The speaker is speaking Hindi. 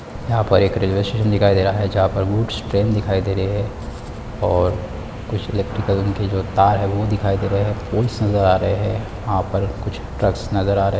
यहाँ पर एक रेल्वे स्टेशन दिखाई दे रहा है जहाँ पर वूट्स ट्रेन दिखाई दे रही है और कुछ इलैक्ट्रिकल के जो तार है वो दिखाई दे रहे है बुल्स नज़र आ रहे है यहाँ पर कुछ ट्रक्स नज़र आ रहे है।